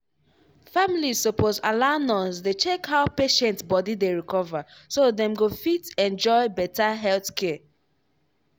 families suppose allow nurse dey check how patient body dey recover so dem go fit enjoy better health care.